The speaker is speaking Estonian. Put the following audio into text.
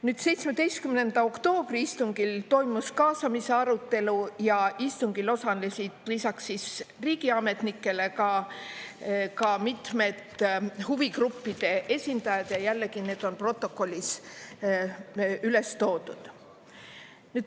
Nüüd, 17. oktoobri istungil toimus kaasamise arutelu ja istungil osalesid lisaks riigiametnikele ka mitmed huvigruppide esindajad, ja jällegi need on protokollis üles toodud.